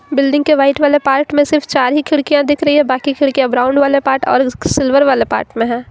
Building के white वाले part में सिर्फ चार ही खिड़कियां दिख रही है बाकी खिड़कियां ब्राउन वाले पार्ट और सिल्वर वाले पार्ट में हैं।